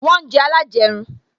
Wọn ń jẹ alajerun